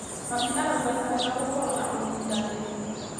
Mami arauga nĩ wega gũkorwo na ũnyitanĩri.